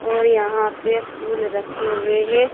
और यहां पे फूल रखे हुए है।